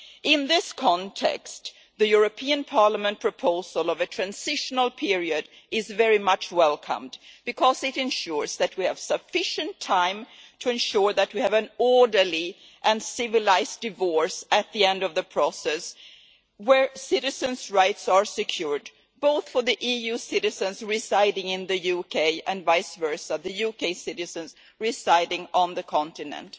In this context, the European Parliament proposal of a transitional period is very much welcomed, because it ensures that we have sufficient time to ensure that we have an orderly and civilised divorce at the end of the process, where citizens' rights are secured both for the EU citizens residing in the UK and vice versa, the UK citizens residing on the continent.